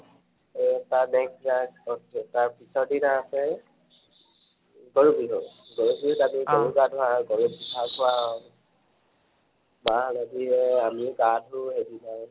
তাৰপাছত, তাৰ next তাৰ পিছৰ দিনা আছে গৰু বিহু। গৰু বিহুত আমি গৰুক গা ধৱাও, গৰুক ঘাঁহ খুৱাও, মাহ হালধিৰে আমি গা ধু সেইদিনাই